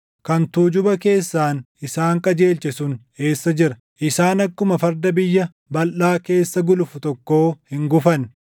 kan tuujuba keessaan isaan qajeelche sun eessa jira? Isaan akkuma farda biyya balʼaa keessa gulufu tokkoo hin gufanne;